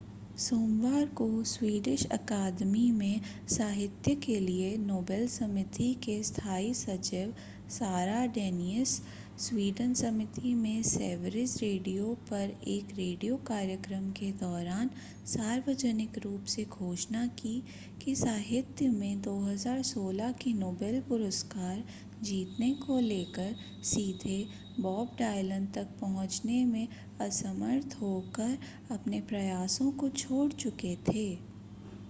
सोमवार को स्वीडिश अकादमी में साहित्य के लिए नोबेल समिति के स्थाई सचिव सारा डेनियस स्वीडन समिति में सेवरिज रेडियो पर एक रेडियो कार्यक्रम के दौरान सार्वजनिक रूप से घोषणा की कि साहित्य में 2016 के नोबेल पुरस्कार जीतने को लेकर सीधे बॉब डायलन तक पहुंचने में असमर्थ होकर अपने प्रयासों को छोड़ चुके थे